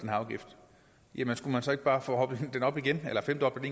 her afgift jamen skulle man så ikke bare forhøje den igen eller femdoble